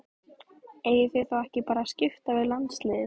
Eigið þið þá ekki að skipta bara við landsliðið?